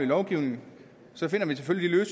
lovgivning finder vi selvfølgelig